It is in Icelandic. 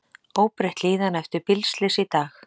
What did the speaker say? Óbreytt líðan eftir bílslys í dag